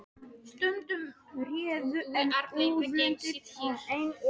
Stundum urðu enni og úlnliðir ein bólguhella.